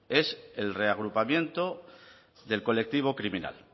es el reagrupamiento del colectivo criminal